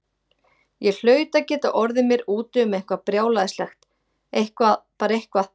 Ég hlaut að geta orðið mér úti um eitthvað brjálæðislegt, eitthvað, bara eitthvað.